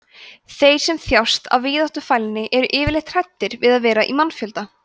þeir sem þjást af víðáttufælni eru yfirleitt hræddir við að vera í mannfjölda